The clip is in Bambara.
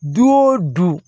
Du o du